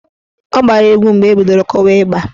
Ọ gbara egwu mgbe ebidoro kụwa ịgba.